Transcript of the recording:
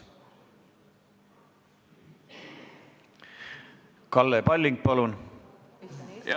Kalle Palling, palun!